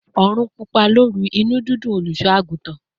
"Orun pupa loru, inu didùn oluso-agutan;